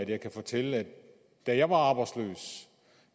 jeg kan fortælle at da jeg var arbejdsløs